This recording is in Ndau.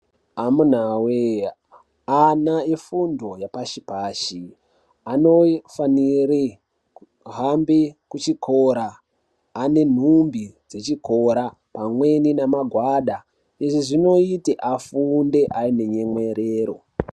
Amunawee, ana efundo yepashi-pashi anofanire kuhambe kuchikora ane nhumbi dzechikora pamweni namagwada. Izvi zvinoite afunde aine nyemwerero.